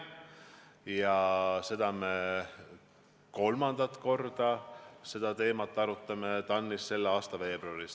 Me arutame seda teemat kolmandat korda TAN-is selle aasta veebruaris.